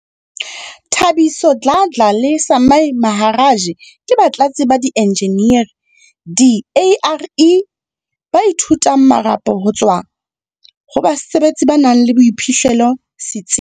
Thabiso Dladla le Sumay Maharaj ke batlatsi ba di-enjeneri di-ARE ba ithutang marapo ho tswa ho basebetsi ba nang le boiphihlello setsi.